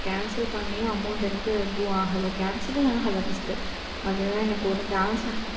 cancel பண்ணியும் amount எனக்கு எதுவும் அகல cancel ஏ ஆகல first. அதுதான் எனக்கு ஒரு .